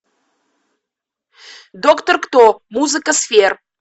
доктор кто музыка сфер